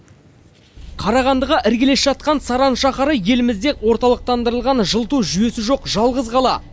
қарағандыға іргелес жатқан саран шаһары елімізде орталықтандырылған жылыту жүйесі жоқ жалғыз қала